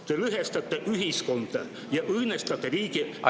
Te lõhestate ühiskonda ja õõnestate riigi julgeolekut.